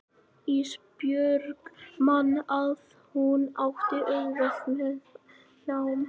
Ísbjörg man að hún átti auðvelt með nám.